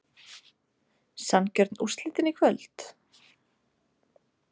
Sanngjörn úrslitin í kvöld?